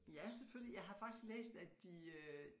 Ja selvfølgelig jeg har faktisk læst at de øh